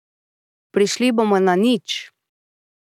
Prišli bomo na nič.